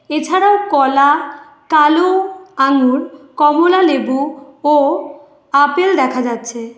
এছাড়াও কলা কালো আঙুর কমলালেবু ও আপেল দেখা যাচ্ছে।